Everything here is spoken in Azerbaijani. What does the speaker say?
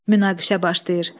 Münaqişə başlayır.